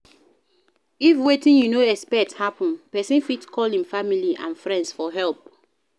if wetin you no expect happen person fit call im family and friends for help